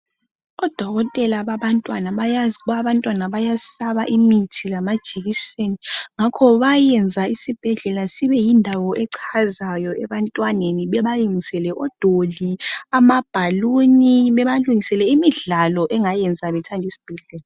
Odokotela babantwana bayazi ukuba abantwana bayesaba imithi lama jekiseni ngakho bayayenza isibhedlela sibeyindawo echazayo ebantwaneni bebayenzele odoli, amabhaluni babalungisele imidlalo engayenza bethandi sbhedlela.